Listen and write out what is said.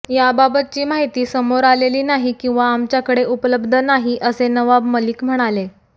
याबाबतची माहिती समोर आलेली नाही किंवा आमच्याकडे उपलब्ध नाही असे नवाब मलिक म्हणाले